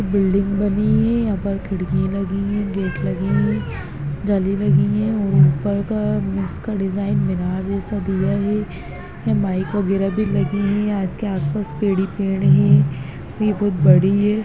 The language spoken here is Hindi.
बिल्डिंग बनी है ऊपर खिड़कि लगी हैं गेट लगे है जाली लगी है और ऊपर का इसका डिज़ाइन मीनार जैसा दिया है यहाँ माइक वग़ैरा भी लगी हैं यहाँ उसके आस पास पेड़ ही पेड़ हैं यह बोहत बड़ी है।